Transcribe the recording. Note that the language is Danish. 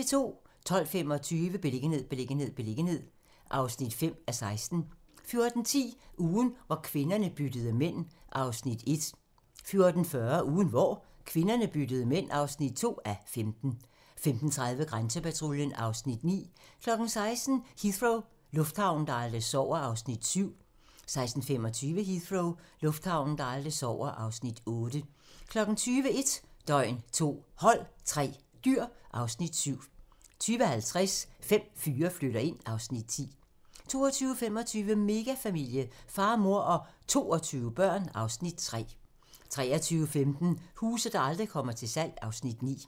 12:25: Beliggenhed, beliggenhed, beliggenhed (5:16) 14:10: Ugen hvor kvinderne byttede mænd (1:15) 14:40: Ugen hvor kvinderne byttede mænd (2:15) 15:30: Grænsepatruljen (Afs. 9) 16:00: Heathrow - lufthavnen, der aldrig sover (Afs. 7) 16:25: Heathrow - lufthavnen, der aldrig sover (Afs. 8) 20:00: 1 døgn, 2 hold, 3 dyr (Afs. 7) 20:50: Fem fyre flytter ind (Afs. 10) 22:25: Megafamilie - far, mor og 22 børn (Afs. 3) 23:15: Huse, der aldrig kommer til salg (Afs. 9)